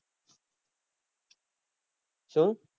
શું?